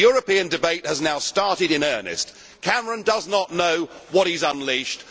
The European debate has now started in earnest. Cameron does not know what he has unleashed.